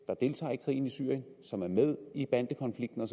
der deltager i krigen i syrien og som er med i bandekonflikten